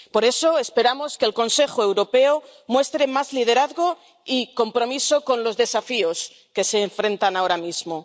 Por eso, esperamos que el Consejo Europeo muestre más liderazgo y compromiso con los desafíos que se enfrentan ahora mismo.